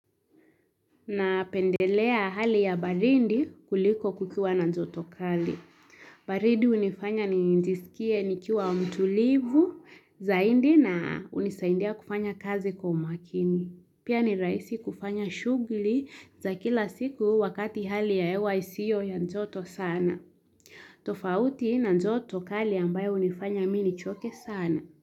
Na pendelea hali ya baridi kuliko kukiwa na jotokali. Baridi hunifanya ni njisikie nikiwa mtulivu zaini na hunisaindia kufanya kazi kwa makini. Pia ni rahisi kufanya shughuli za kila siku wakati hali ya hewa isiyo ya joto sana. Tofauti na joto kali ambayo hunifanya mimi nichoke sana.